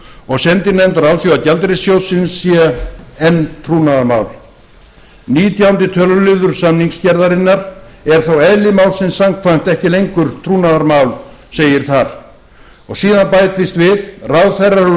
og sendinefndar alþjóðagjaldeyrissjóðsins sé enn trúnaðarmál nítjánda töluliður samningsgerðarinnar er þó eðli málsins samkvæmt ekki lengur trúnaðarmál segir þar og síðan bætist við ráðherrar úr